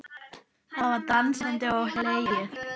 Það var dansað og hlegið.